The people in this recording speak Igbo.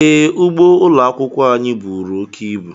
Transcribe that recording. Ee, ugbo ụlọ akwụkwọ anyị buru oke ibu.